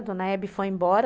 A dona Hebe foi embora.